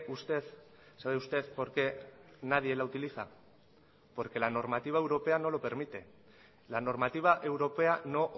usted sabe usted por qué nadie la utiliza porque la normativa europea no lo permite la normativa europea no